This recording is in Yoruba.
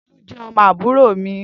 Tolu jé ọmọ àbúrò mi